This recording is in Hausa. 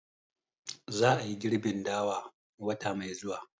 Za a yi girbin dawa wata mai zuwa